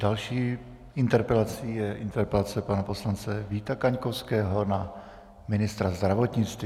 Další interpelací je interpelace pana poslance Víta Kaňkovského na ministra zdravotnictví.